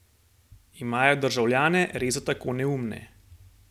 Imajo državljane res za tako neumne?